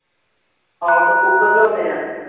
ਆਹੋ ਓਥੋਂ ਕੁੱਕੜ ਲਿਆਉਂਦੇ ਆ